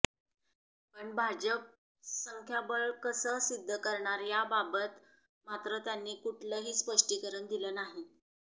पण भाजप संख्याबळ कसं सिद्ध करणार याबाबत मात्र त्यांनी कुठलंही स्पष्टीकरण दिलं नाही